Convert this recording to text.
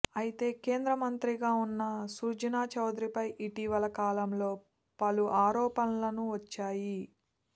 అయితే కేంద్ర మంత్రిగా ఉన్న సుజనా చౌదరిపై ఇటీవల కాలంలో పలు ఆరోపణలను వచ్చాయి